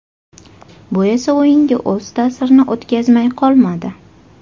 Bu esa o‘yinga o‘z ta’sirini o‘tkazmay qolmadi.